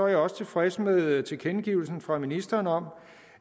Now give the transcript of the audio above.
jeg også tilfreds med tilkendegivelsen fra ministeren om